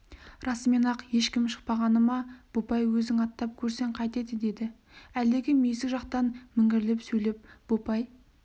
расымен-ақ ешкім шықпағаны ма бопай өзің аттап көрсең қайтеді деді әлдекім есік жақтан міңгірлеп сөйлеп бопай